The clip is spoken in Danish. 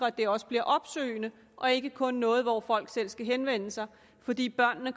det også bliver opsøgende og ikke kun bliver noget hvor folk selv skal henvende sig fordi børnene